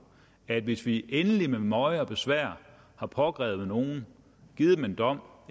at vi hvis vi endelig med møje og besvær har pågrebet nogle givet dem en dom